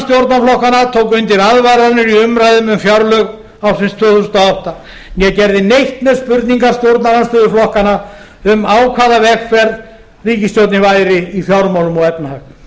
stjórnarflokkanna tók undir aðvaranir í umræðum um fjárlög ársins tvö þúsund og átta né gerði neitt með spurningar stjórnarandstöðuflokkanna um á hvaða vegferð ríkisstjórnin væri í fjármálum og efnahag